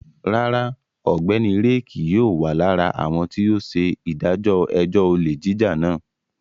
Rárá, Ọgbẹni Ray kii yóò wa lara awọn ti o ṣe idajọ ẹjọ ole jija náà